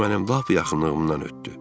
O mənim lap yaxınlığımdan ötdü.